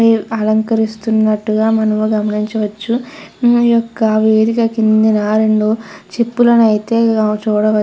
అలంకరిస్తున్నట్టుగా మనం గమనించవచ్చును. ఈ యొక్క వేదిక కిందన రేండు చిప్పలను ఆయితే చూడవచ్ --